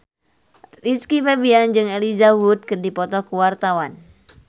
Rizky Febian jeung Elijah Wood keur dipoto ku wartawan